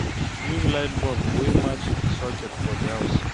Use light bulb wey match di socket for di house